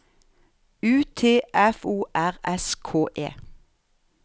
U T F O R S K E